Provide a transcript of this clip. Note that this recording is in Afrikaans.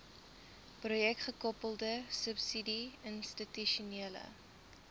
projekgekoppelde subsidie institusionele